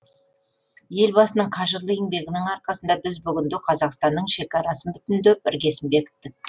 елбасының қажырлы еңбегінің арқасында біз бүгінде қазақстанның шекарасын бүтіндеп іргесін бекіттік